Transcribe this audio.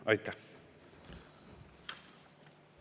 Aitäh!